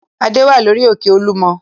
Adé wà lórí òkè Olúmọ.